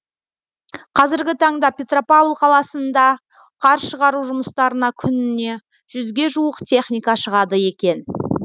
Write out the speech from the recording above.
қазіргі таңда петропавл қаласында қар шығару жұмыстарына күніне жүзге жуық техника шығады екен